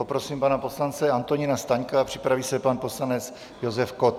Poprosím pana poslance Antonína Staňka, připraví se pak poslanec Josef Kott.